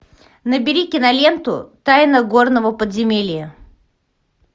набери киноленту тайна горного подземелья